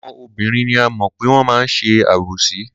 Àwọn obìnrin ni a mọ̀ pé wọ́n máa ń ṣe àbòsí.